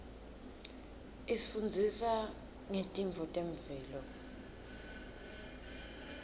isifundzisa ngetintfo temvelo